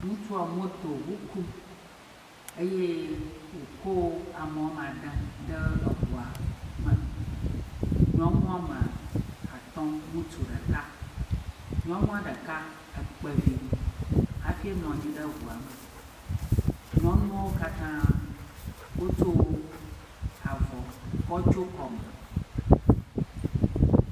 Ŋutsua motoŋu kum. Eye wòkɔ ame woama de ɖe ŋua me. nyɔnu woame atɔ̃, ŋutsu ɖeka. Nyɔnua ɖeka ekpe vi hafi enɔ anyi ɖe ŋua me. nyɔnuwo katã wotso avɔ ko tsyo kɔme.